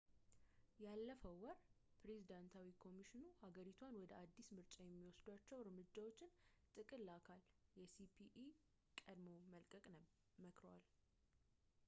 ያለፈው ወር ፕሬዝዳንታዊ ኮሚሽኑ ሀገሪቷን ወደ አዲሱ ምርጫ የሚወሰዷቸው እርምጃዎች ጥቅል አካል የሲኢፒን ቀድሞ መልቀቅን መክረዋል